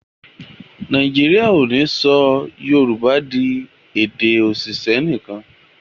Nàìjíríà o ní sọ yorùbá dì èdè oṣiṣẹ nìkan.